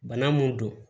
Bana mun don